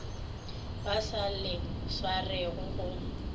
ba sa le swarego go